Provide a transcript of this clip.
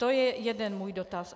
To je jeden můj dotaz.